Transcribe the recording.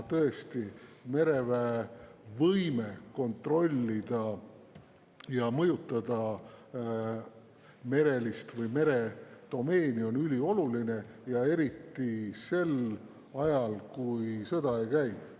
Tõesti, mereväe võime kontrollida ja mõjutada meredomeeni on ülioluline, eriti sel ajal, kui sõda ei käi.